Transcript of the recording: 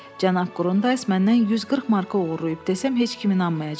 Cənab Qurundayz məndən 140 marka oğurlayıb desəm heç kim inanmayacaq.